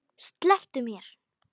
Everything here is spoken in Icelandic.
Slepptu mér!